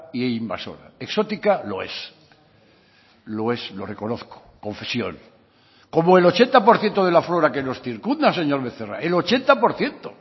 e invasora exótica lo es lo es lo reconozco confesión como el ochenta por ciento de la flora que nos circunda señor becerra el ochenta por ciento